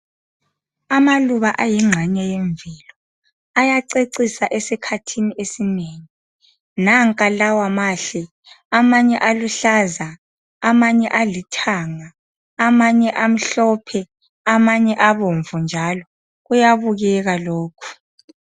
Amaluba ayingxenye yemvelo ayacecisa esikhathini esinengi. Nanka lawa mahle amanye aluhlaza amanye alithanga amanye amhlophe amanye abomvu njalo. Kuyabukeka lokhu.